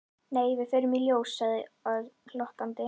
Nei, við förum í ljós sagði Örn glottandi.